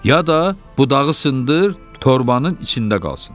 Ya da budağı sındır, torbanın içində qalsın.